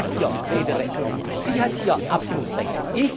Sie hat hier Rederecht, sie hat hier Abstimmungsrecht.